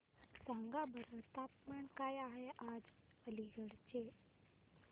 सांगा बरं तापमान काय आहे आज अलिगढ चे